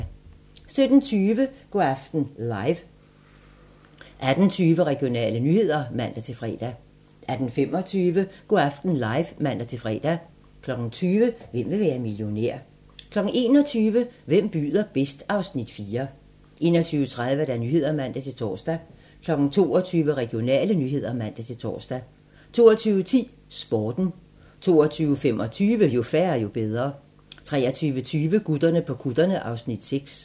17:20: Go' aften live (man-fre) 18:20: Regionale nyheder (man-fre) 18:25: Go' aften live (man-fre) 20:00: Hvem vil være millionær? 21:00: Hvem byder bedst? (Afs. 4) 21:30: Nyhederne (man-tor) 22:00: Regionale nyheder (man-tor) 22:10: Sporten 22:25: Jo færre, jo bedre 23:20: Gutterne på kutterne (Afs. 6)